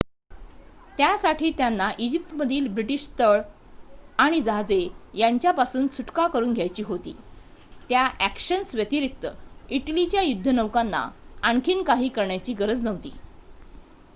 त्यासाठी त्यांना इजिप्तमधील ब्रिटीश तळ आणि जहाजे यांच्यापासून सुटका करून घ्यायची होती त्या ॲक्शन्स व्यतिरिक्त इटलीच्या युद्धनौकांना आणखी काही करण्याची गरज नव्हती